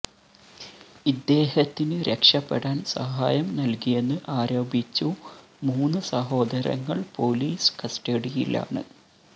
ഇദ്ദേഹത്തിന് രക്ഷപെടാന് സഹായം നല്കിയെന്ന് ആരോപിച്ചു മൂന്ന് സഹോദരങ്ങള് പോലിസ് കസ്റ്റഡിയിലാണ്